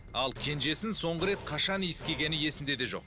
ал кенжесін соңғы рет қашан иіскегені есінде де жоқ